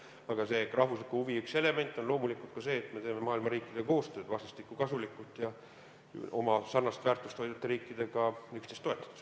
Aga rahvusliku huvi üks elemente on loomulikult ka see, et me teeme maailma riikidega koostööd vastastikku kasulikult ja oma sarnast väärtust hoidvate riikidega üksteist toetades.